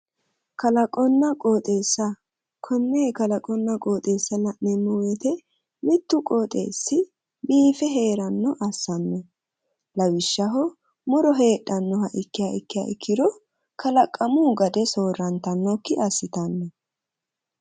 Kalaqonna qooxeessa konne kalaqonna qooxeessa la'neemmo woyiite mittu qooxeessi biife heerannoha assanno lawishshaho muro heedhannoha ikki ikkiya ikkiro kalaqamu gade soorrantannokkibassitanno.